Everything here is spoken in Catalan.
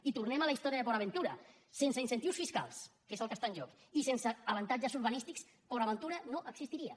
i tornem a la història de port aventura sense incentius fiscals que és el que està en joc i sense avantatges urbanístiques port aventura no existiria